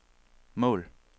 mål